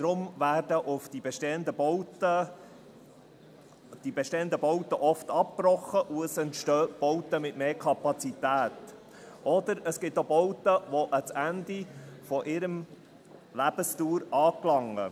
Darum werden die bestehenden Bauten oft abgebrochen und es entstehen Bauten mit mehr Kapazität, oder es gibt auch Bauten, die am Ende ihrer Lebensdauer anlangen.